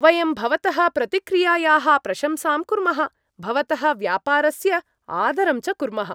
वयं भवतः प्रतिक्रियायाः प्रशंसां कुर्मः, भवतः व्यापारस्य आदरं च कुर्मः।